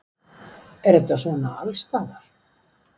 Er þetta svona allsstaðar